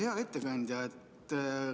Hea ettekandja!